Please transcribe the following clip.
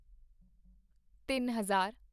ਤਿੱਨ ਹਜ਼ਾਰ